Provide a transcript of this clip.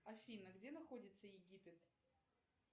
афина где находится египет